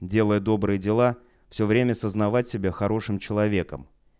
делай добрые дела всё время сознавать себя хорошим человеком